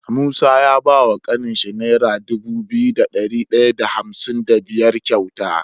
Musa ya bawa kanin sa naira Dubu biyu da dari daya da hamsin da biyar kyauta